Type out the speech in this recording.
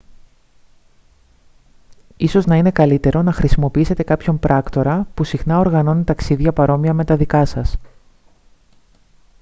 ίσως να είναι καλύτερο να χρησιμοποιήσετε κάποιον πράκτορα που συχνά οργανώνει ταξίδια παρόμοια με τα δικά σας